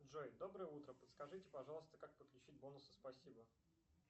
джой доброе утро подскажите пожалуйста как подключить бонусы спасибо